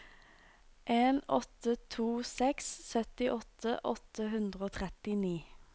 en åtte to seks syttiåtte åtte hundre og trettini